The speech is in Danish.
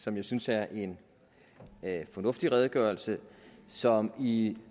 som jeg synes er en fornuftig redegørelse som i